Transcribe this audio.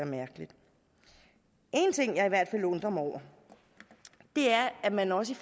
mærkeligt en ting jeg i hvert fald undrer mig over er at man også